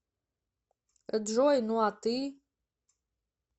джой ну а ты